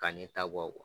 Ka ne ta bɔ